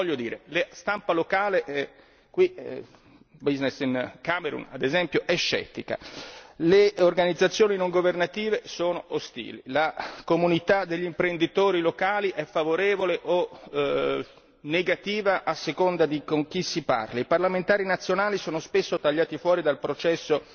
Voglio dire la stampa locale, Business in Cameroon ad esempio, è scettica, le organizzazioni non governative sono ostili, la comunità degli imprenditori locali è favorevole o negativa a seconda di con chi si parli, i parlamentari nazionali sono spesso tagliati fuori dal processo